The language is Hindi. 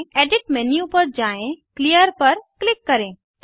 एडिट मेन्यू पर जाएँ क्लियर पर क्लिक करें